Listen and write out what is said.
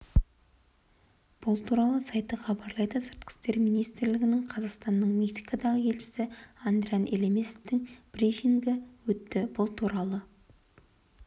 бұл туралы сайты хабарлайды сыртқы істер министрлігінде қазақстанның мексикадағы елшісі адриан елемесовтың брифингі өтті бұл туралы